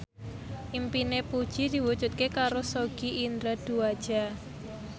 impine Puji diwujudke karo Sogi Indra Duaja